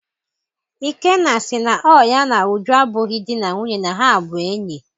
Ikenna sị na ọ ya na Uju abụghị dị na nwunye na ha bụ enyi.